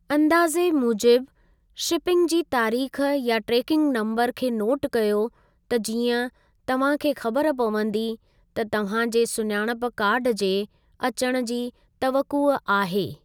अंदाज़े मूजिबि शिपिंग जी तारीख़ या ट्रेकिंग नम्बरु खे नोट कयो त जीअं तव्हां खे ख़बर पवंदी त तव्हां जे सुञाणप कार्डु जे अचणु जी तवक़ुउ आहे।